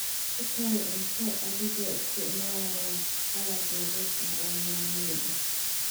Ku kari cunto adigoo isticmaalaya qalab nadiif ah oo ammaan ah.